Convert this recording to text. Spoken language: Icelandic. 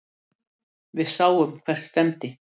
Við sáum hvert stefndi.